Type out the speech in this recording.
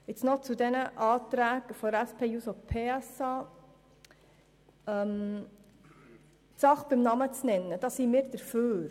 Nun noch zu den Anträgen der SP-JUSO-PSA-Fraktion: Wir sind dafür.